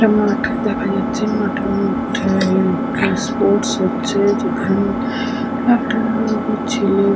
একটা মাঠ দেখা যাচ্ছে। মাঠের মধ্যে স্পোর্টস হচ্ছে যেখানে একটা ছেলে।